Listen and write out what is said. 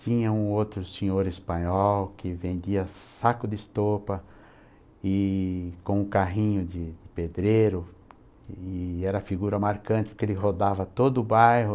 Tinha um outro senhor espanhol que vendia saco de estopa e com um carrinho de pedreiro e era figura marcante porque ele rodava todo o bairro.